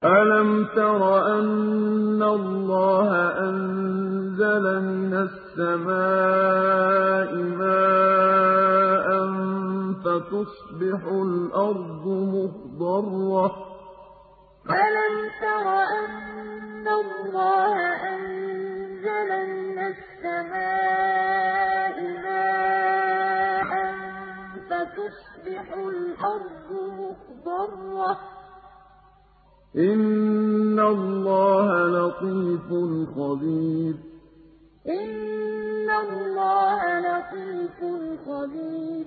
أَلَمْ تَرَ أَنَّ اللَّهَ أَنزَلَ مِنَ السَّمَاءِ مَاءً فَتُصْبِحُ الْأَرْضُ مُخْضَرَّةً ۗ إِنَّ اللَّهَ لَطِيفٌ خَبِيرٌ أَلَمْ تَرَ أَنَّ اللَّهَ أَنزَلَ مِنَ السَّمَاءِ مَاءً فَتُصْبِحُ الْأَرْضُ مُخْضَرَّةً ۗ إِنَّ اللَّهَ لَطِيفٌ خَبِيرٌ